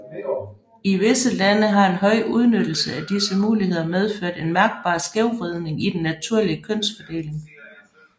I visse lande har en høj udnyttelse af disse muligheder medført en mærkbar skævvridning i den naturlige kønsfordeling